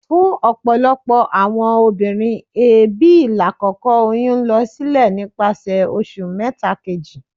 Fun ọpọlọpọ awọn obinrin, eebi lakoko oyun n lọ silẹ nipasẹ oṣu mẹta keji.